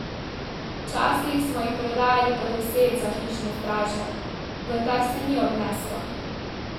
Včasih smo jih prodajali po deset za hišne straže, vendar se ni obneslo.